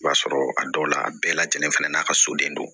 I b'a sɔrɔ a dɔw la a bɛɛ lajɛlen fɛnɛ n'a ka soden don